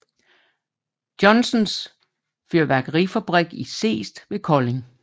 Johnsens Fyrværkerifabrik i Seest ved Kolding